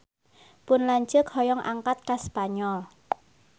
Pun lanceuk hoyong angkat ka Spanyol